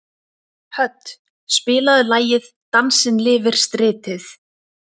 Hödd, spilaðu lagið „Dansinn lifir stritið“.